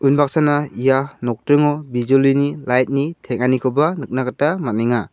unbaksana ia nokdringo bijolini light-ni teng·anikoba nikna gita man·enga.